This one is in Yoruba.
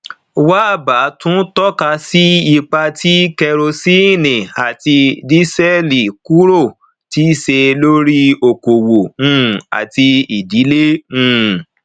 wabba tún tọka sí ipa tí kerosene àti dísẹẹlì kúrò ti ṣe lórí okòwò um àti ìdílé um